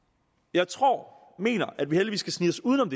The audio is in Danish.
jeg tror og mener at vi heldigvis kan snige os uden om